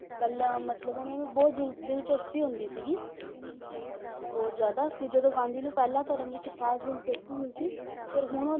ਪਹਿਲਾਂ ਮਤਲਬ ਉਹਨਾਂ ਨੂੰ ਬਹੁਤ ਦਿਲ~ ਦਿਲਚਸਪੀ ਹੁੰਦੀ ਸੀ ਬਹੁਤ ਜ਼ਿਆਦਾ ਫਿਰ ਜਦੋਂ ਗਾਂਧੀ ਨੂੰ ਪਹਿਲਾਂ ਧਰਮ ਵਿੱਚ ਖਾਸ ਦਿਲਚਸਪੀ ਨਹੀਂ ਸੀ ਫਿਰ ਹੁਣ ਉਹ